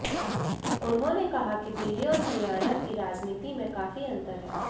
उन्होंने कहा कि दिल्ली और हरियाणा की राजनीति में काफी अंतर है